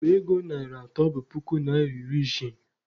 Akpa ego narị atọ bụ puku naịra iri isii